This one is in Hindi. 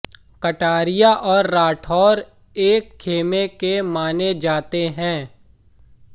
कटारिया और राठौर एक खेमे के माने जाते हैं